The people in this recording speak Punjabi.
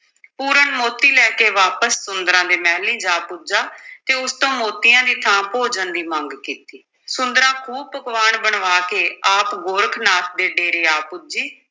ਪੂਰਨ ਮੋਤੀ ਲੈ ਕੇ ਵਾਪਸ ਸੁੰਦਰਾਂ ਦੇ ਮਹਿਲੀਂ ਜਾ ਪੁੱਜਾ ਤੇ ਉਸ ਤੋਂ ਮੋਤੀਆਂ ਦੀ ਥਾਂ ਭੋਜਨ ਦੀ ਮੰਗ ਕੀਤੀ, ਸੁੰਦਰਾਂ ਖ਼ੂਬ ਪਕਵਾਨ ਬਣਵਾ ਕੇ ਆਪ ਗੋਰਖ ਨਾਥ ਦੇ ਡੇਰੇ ਆ ਪੁੱਜੀ